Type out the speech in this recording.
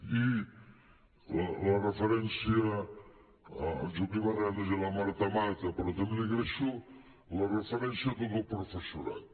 i la referència a en joaquim arenas i a la marta mata però també li agraeixo la referència a tot el professorat